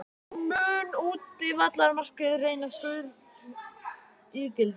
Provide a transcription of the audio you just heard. Mun útivallarmarkið reynast gulls ígildi?